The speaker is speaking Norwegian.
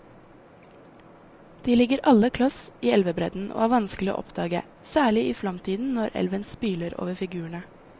De ligger alle kloss i elvebredden og er vanskelige å oppdage, særlig i flomtiden når elven spyler over figurene.